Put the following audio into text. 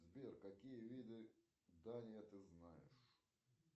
сбер какие виды дания ты знаешь